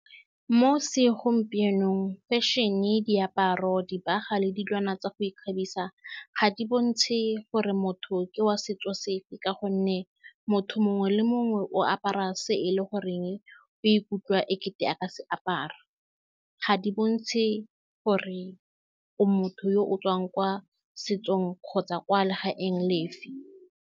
Mo segompienong, fashion-e, diaparo, dibaga le dilwana tsa go ikgabisa ga di bontshe gore motho ke wa setso sefe, ka gonne motho mongwe le mongwe o a apara se e leng gore o ikutlwa e kete a ka se apara. Ga di bontshe gore o motho yo o tswa kwa setsong kgotsa kwa legaeng lefe.